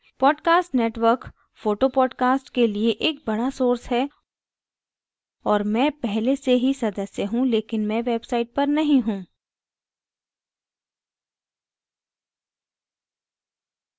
podcast network photo podcast के लिए एक बड़ा source है और मैं पहले से ही सदस्य हूँ लेकिन मैं website पर नहीं हूँ